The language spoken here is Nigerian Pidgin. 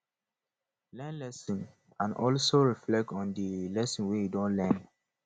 learn lesson and also reflect on di lessons wey you don learn